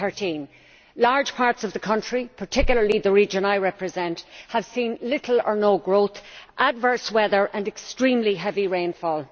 2013. Large parts of the country, particularly the region I represent, have seen little or no growth, adverse weather and extremely heavy rainfall.